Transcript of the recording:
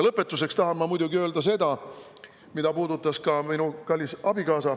Lõpetuseks tahan ma muidugi öelda seda, mida puudutas ka minu kallis abikaasa.